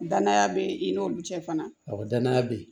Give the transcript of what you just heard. Danaya be i n'olu cɛ fana awɔ danaya be yen